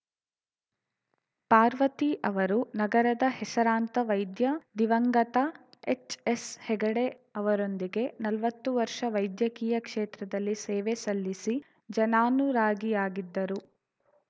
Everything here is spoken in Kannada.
ಪಾರ್ವತಿ ಅವರು ನಗರದ ಹೆಸರಾಂತ ವೈದ್ಯ ದಿವಂಗತ ಎಚ್‌ಎಸ್‌ಹೆಗಡೆ ಅವರೊಂದಿಗೆ ನಲ್ವತ್ತು ವರ್ಷ ವೈದ್ಯಕೀಯ ಕ್ಷೇತ್ರದಲ್ಲಿ ಸೇವೆ ಸಲ್ಲಿಸಿ ಜನಾನುರಾಗಿಯಾಗಿದ್ದರು